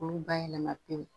Olu bayɛlɛma pewu